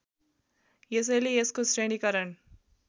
यसैले यसको श्रेणीकरण